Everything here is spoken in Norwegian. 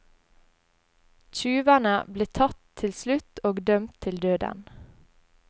Tjuvene ble tatt til slutt og dømt til døden.